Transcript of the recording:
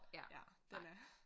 Ja den er